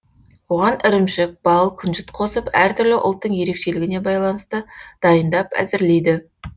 оған ірімшік бал күнжіт қосып әртүрлі ұлттың ерекшелігіне байланысты дайындап әзірлейді